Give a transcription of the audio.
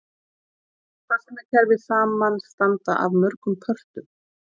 Farsímakerfi samanstanda af mörgum pörtum.